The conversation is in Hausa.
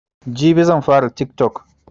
Jibi zanfara tiktok